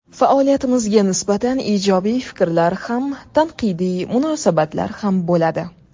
Faoliyatimizga nisbatan ijobiy fikrlar ham, tanqidiy munosabatlar ham bo‘ladi.